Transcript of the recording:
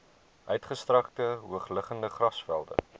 uitgestrekte hoogliggende grasvelde